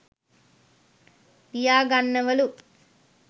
ලියාගන්නවලු